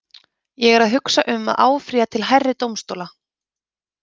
Ég er að hugsa um að áfrýja til hærri dómstóla.